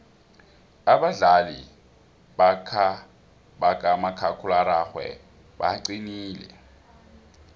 abadlali bakamakhakhulararhwe baqinile